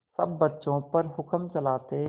सब बच्चों पर हुक्म चलाते